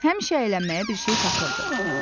Həmişə əylənməyə bir şey tapırdı.